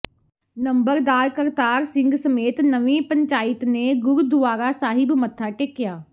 ਨੰਬਰਦਾਰ ਕਰਤਾਰ ਸਿੰਘ ਸਮੇਤ ਨਵੀਂ ਪੰਚਾਇਤ ਨੇ ਗੁਰਦੁਆਰਾ ਸਾਹਿਬ ਮੱਥਾ ਟੇਕਿਆ